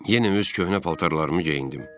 Yenə öz köhnə paltarlarımı geyindim.